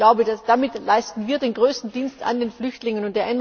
so ist. Ich glaube, damit leisten wir den größten Dienst an den Flüchtlingen.